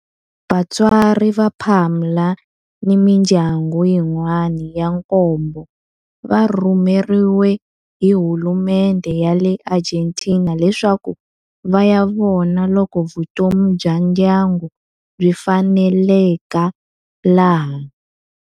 Vatswari va Palma ni mindyangu yin'wana ya nkombo va rhumeriwe hi hulumendhe ya le Argentina leswaku va ya vona loko vutomi bya ndyangu byi faneleka laha.